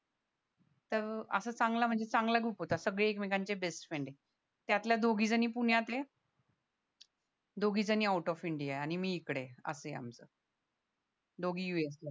तर असा चांगला म्हणजे चांगला ग्रुप होता सगळे एकमेकांचे बेस्टफ्रेंड ये त्यातल्या दोघी जणी पुण्यात ये या दोघी जणी आऊट ऑफ इंडिया आणि मी इकडे असं ये आमचं दोघी USA ला